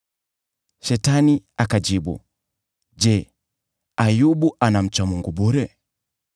Shetani akamjibu Bwana , “Je, Ayubu anamcha Mungu bure?